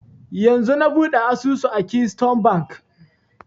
Yanzun na buɗe asusu a keystone bank